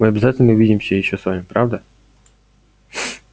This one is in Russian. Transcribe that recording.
мы обязательно увидимся ещё с вами правда